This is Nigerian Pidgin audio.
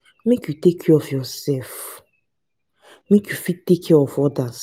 make you take care of yoursef make you fit take care of odas.